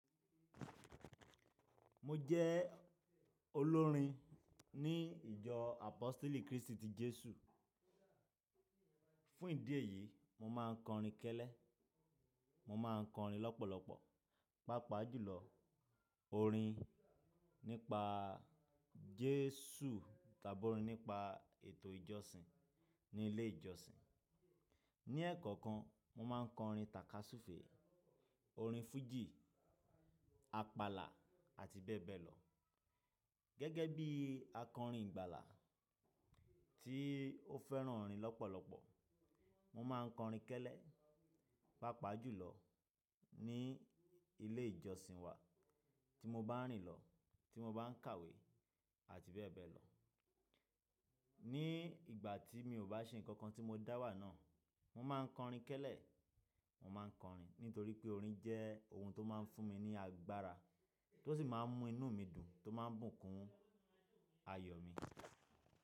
Mo jẹ́ olórin ní ìjọ Apostle Cristo Jesu. Fún ìdí èyí, mo máa ń kọrin kẹ́lẹ́, mo máa ń kọrin lọ́pọ̀lọpọ̀, pàápàá jùlọ orin nípa Jesu tàbí orin nípa ètò ìjọsìn ní ilé ìjọsìn. Ni ẹ̀ẹ̀kọ̀kan, mo máa ń kọrin tàkasúfèé, orin fújì, àpàlà àti bẹ́ẹ̀ bẹ́ẹ̀ lọ. Gẹ́gẹ́ bí akọrin ìgbàlà tí ó fẹ́ràn orin lọ́pọ̀lọpọ̀, mo máa ń kọrin kẹ́lẹ́, pàápàá jùlọ ní ilé ìjọsìn wa tí mo bá ń rìn lọ, tí mo bá ń kàwé àti bẹ́ẹ̀ bẹ́ẹ̀ lọ. Ni ìgbà tí mi ò bá ṣe nǹkan tí mo dá wà náà, mo máa ń kọrin kẹ́lẹ́, mo máa ń kọrin nítorí pé orin jẹ́ ohun tó máa ń fún mi ní agbára tó sì máa ń mú inú mi dùn tó máa ń bùkún ayọ̀ mi.